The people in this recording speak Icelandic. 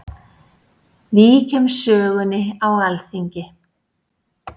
Víkjum sögunni á Alþingi.